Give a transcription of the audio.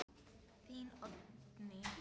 Þín, Oddný.